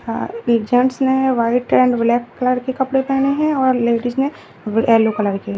Gents ने white and black colour के कपड़े पहने हैं और लेडिस ने येलो कलर के।